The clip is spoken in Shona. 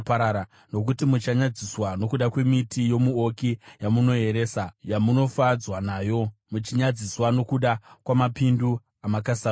“Nokuti muchanyadziswa nokuda kwemiti yomuouki yamunoeresa, yamunofadzwa nayo; muchanyadziswa nokuda kwamapindu amakasarudza.